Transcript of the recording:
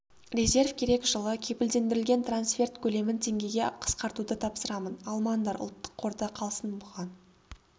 резерв керек жылы кепілдендірілген трансферт көлемін теңгеге қысқартуды тапсырамын алмаңдар ұлттық қорда қалсын бұған